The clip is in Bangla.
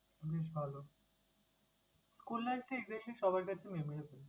বেশ ভালো। School life টা exactly সবার কাছে memorable ।